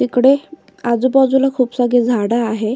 इकडे आजूबाजूला खूप सारी झाड आहे.